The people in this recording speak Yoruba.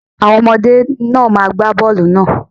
Àwọn ọmọdé náà má gba bọ́ọlù náà.